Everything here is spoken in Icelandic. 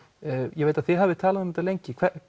ég veit að þið hafið talað um þetta lengi